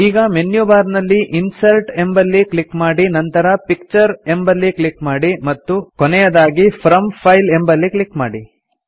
ಈಗ menu bar ನಲ್ಲಿ insert ಎಂಬಲ್ಲಿ ಕ್ಲಿಕ್ ಮಾಡಿ ನಂತರ ಪಿಕ್ಚರ್ ಎಂಬಲ್ಲಿ ಕ್ಲಿಕ್ ಮಾಡಿ ಮತ್ತು ಕೊನೆದಾಗಿ ಫ್ರಾಮ್ ಫೈಲ್ ಎಂಬಲ್ಲಿ ಕ್ಲಿಕ್ ಮಾಡಿ